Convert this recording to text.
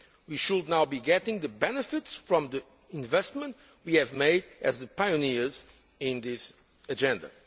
We should now be getting the benefits from the investment we have made as the pioneers in this agenda.